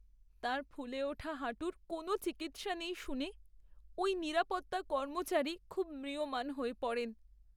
তাঁর ফুলে ওঠা হাঁটুর কোনও চিকিৎসা নেই শুনে ওই নিরাপত্তা কর্মচারী খুব ম্রিয়মাণ হয়ে পড়েন।